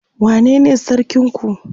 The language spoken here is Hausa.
wane ne sarkin ku?